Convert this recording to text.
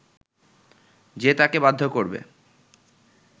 যে তাঁকে বাধ্য করবে